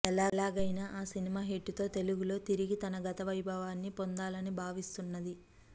ఎలాగైనా ఆ cinema hit తో తెలుగులో తిరిగి గత వైభవాన్ని పొందాలని భావిస్తున్నది